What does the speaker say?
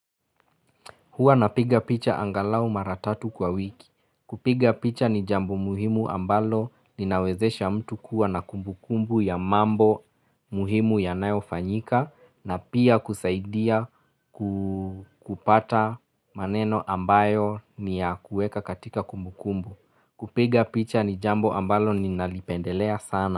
Hua napiga picha angalau maratatu kwa wiki. Kupiga picha ni jambo muhimu ambalo ninawezesha mtu kuwa na kumbu kumbu ya mambo muhimu ya nayo fanyika na pia kusaidia kupata. Maneno ambayo ni ya kueka katika kumbu kumbu. Kupiga picha ni jambo ambalo ninalipendelea sana.